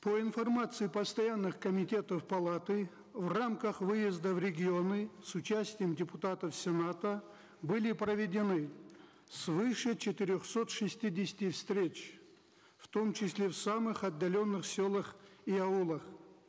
по информации постоянных комитетов палаты в рамках выезда в регионы с участием депутатов сената были проведены свыше четырехсот шестидесяти встреч в том числе в самых отдаленных селах и аулах